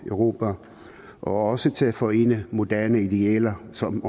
europa og også til at forene moderne idealer som